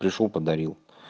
пришёл подарил